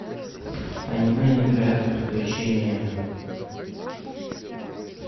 аниме невероятные приключения